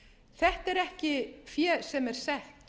þetta er ekki fé sem er sett